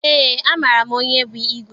Eé, amaara m onye bụ igwe.